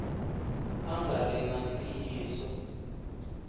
a nga ri na ntiyiso